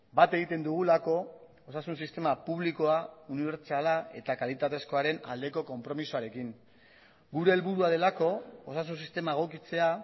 bat egiten dugulako osasun sistema publikoa unibertsala eta kalitatezkoaren aldeko konpromisoarekin gure helburua delako osasun sistema egokitzea